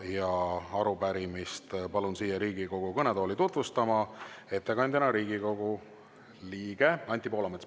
Ja palun arupärimist siia Riigikogu kõnetooli tutvustama ettekandja, Riigikogu liikme Anti Poolametsa.